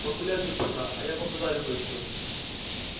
погуляй тут пока а я побазарю кое с кем